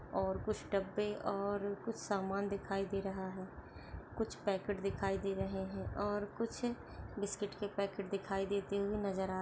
और कुछ डब्बे और कुछ सामान दिखाई दे रहा है कुछ पैकेट दिखाई दे रहे है और कुछ बिस्किट के पैकेट दिखाई देते हुए नजर आ--